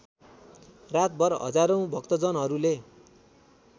रातभर हजारौँ भक्तजनहरूले